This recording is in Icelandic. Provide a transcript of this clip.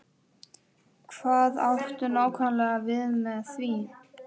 Hvað áttu nákvæmlega við með því?